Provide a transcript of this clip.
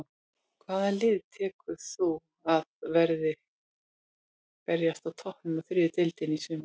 Hvaða lið telur þú að verði að berjast á toppnum í þriðju deildinni í sumar?